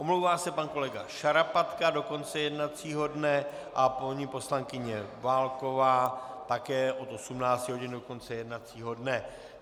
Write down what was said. Omlouvá se pan kolega Šarapatka do konce jednacího dne a paní poslankyně Válková také od 18 hodin do konce jednacího dne.